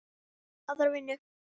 Aðra vinnu?